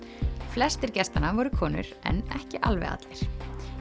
flestir gestanna voru konur en ekki alveg allir